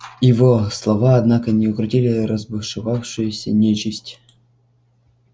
его слова однако не укротили разбушевавшуюся нечисть